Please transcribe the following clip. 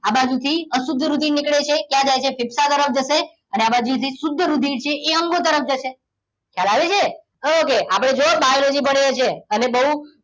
આ બાજુથી અશુદ્ધ રુધિર નીકળે છે ક્યાં જાય છે ફેફસા તરફ જશે અને આ બાજુથી શુદ્ધ રુધિર એ અંગો તરફ જશે ખ્યાલ આવ્યો ને okay આપણે જુઓ biology ભણીએ છીએ અને બહુ